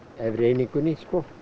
efri einingunni